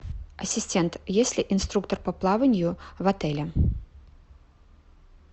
ассистент есть ли инструктор по плаванию в отеле